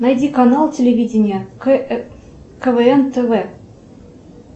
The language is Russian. найди канал телевидения квн тв